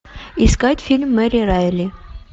искать фильм мэри райли